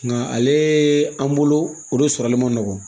Nka ale an bolo o de sɔrɔli man nɔgɔn